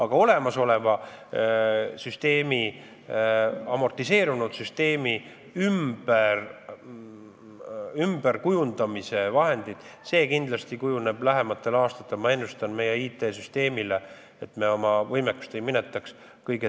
Ma ennustan, et olemasoleva amortiseerunud süsteemi ümberkujundamise vahendite küsimus kujuneb lähematel aastatel kõige tõsisemaks proovikiviks meie IT-süsteemile, et me oma võimekust ei minetaks.